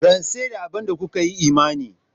Rantse da abin da kuka yi imani.